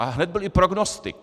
A hned byl i prognostik.